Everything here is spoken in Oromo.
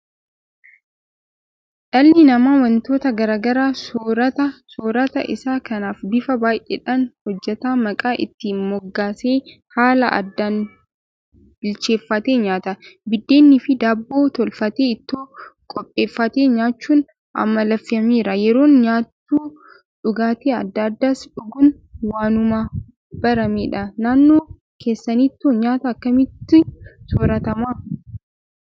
Dhalli namaa waantota garaa garaa soorata. Soorata isaa kanas bifa baay'eedhaan hojjetee maqaa itti moggaasee haala addaan bilcheeffatee nyaata. Biddeeniifi Daabboo tolfatee Ittoo qopheeffatee nyaachuun amaleeffameera Yeroo nyaatu dhugaatii adda addaas dhuguun waanuma baramedha. Naannoo keessanittoo nyaata akkamiitu sooratama?